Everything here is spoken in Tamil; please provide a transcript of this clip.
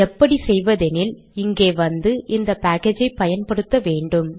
எப்படி செய்வது எனில் இங்கே வந்து இந்த பேக்கேஜை பயன்படுத்த வேண்டும்